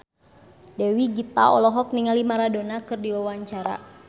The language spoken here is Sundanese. Dewi Gita olohok ningali Maradona keur diwawancara